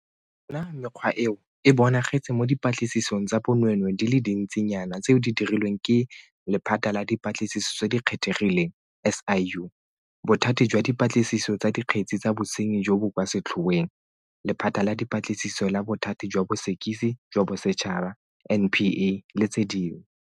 Yona mekgwa eo e bonagetse mo dipatlisisong tsa bonweenwee di le dintsi nyana tseo di dirilweng ke Lephata la Dipatlisiso tse di Kgethegileng SIU, Bothati jwa Dipatlisiso tsa Dikgetse tsa Bosenyi jo bo kwa Setlhoeng, Lephata la Dipatlisiso la Bothati jwa Bosekisi jwa Bosetšhaba NPA le tse dingwe.